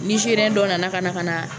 Nizeriyɛn dɔ nana ka na ka na